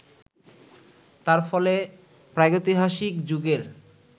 তার ফলে প্রাগৈতিহাসিক যুগের